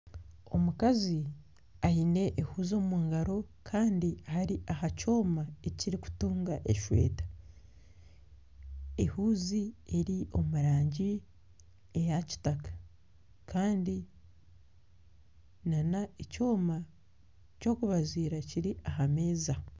Omukazi aine ehuuzi omungaro Kandi ari aha kyooma ekirikutunga esweeta ,ehuuzi eri omu rangi eya kitaka Kandi nana ekyoma ekyokubaziira kiri ahameeza.